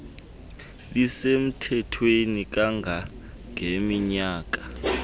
lisemthethweni kanga ngeminyaka